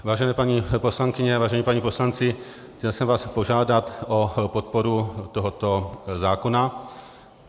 Vážené paní poslankyně, vážení páni poslanci, chtěl jsem vás požádat o podporu tohoto zákona.